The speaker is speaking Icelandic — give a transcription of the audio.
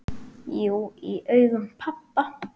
Jú, í augum pabba